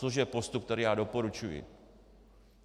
Což je postup, který já doporučuji.